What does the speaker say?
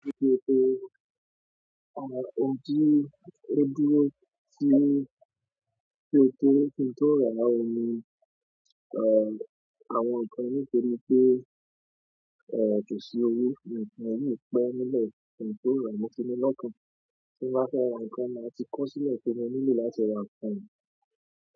À, òdí, ó dúró sí ètò ohun tó rọ̀ lára omi. À, àwọn ǹkan ní ìpele pé, èèyí jù sí orí, àwọn ǹkan yìí pẹ́ nínú ohun tó rọ̀ ní sínú lọ́kàn. Tí wọ́n bá fẹ́ ra nǹkan màá ti kó sílẹ̀ sínú nílùú láti ra nǹkan. Yìí.